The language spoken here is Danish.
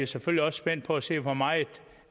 selvfølgelig også spændt på at se hvor meget